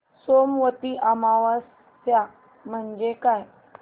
सोमवती अमावस्या म्हणजे काय